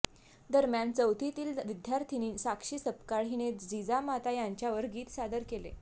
दरम्यान चौथीतील विद्यार्थिनी साक्षी सपकाळ हिने जिजामाता यांच्यावर गीत सादर केले